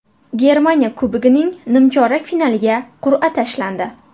Germaniya Kubogining nimchorak finaliga qur’a tashlandi.